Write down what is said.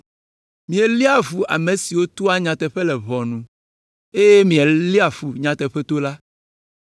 Mielé fu ame siwo toa nyateƒe le ʋɔnu, eye miele fu nyateƒetola.